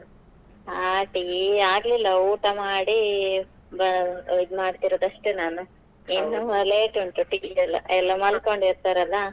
ಹಾ tea ಆಗ್ಲಿಲ್ಲಾ ಊಟ ಮಾಡಿ ಬ~ ಇದ್ಮಾಡ್ತಿರೋದು ಅಷ್ಟೇ ನಾನು ಇನ್ನೂ late ಉಂಟು tea ಎಲ್ಲ ಎಲ್ಲಾ ಮನ್ಕೊಂಡ್ ಇರ್ತಾರೆ ಅಲ್ಲಾ .